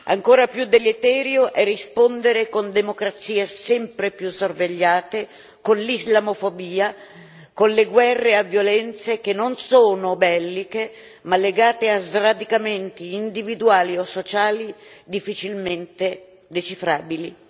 Ancora più deleterio è rispondere con democrazie sempre più sorvegliate, con l'islamofobia e con le guerre a violenze che non sono belliche, ma legate a sradicamenti individuali o sociali difficilmente decifrabili.